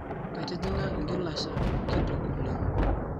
Ketijinga ngilasha kitok oleng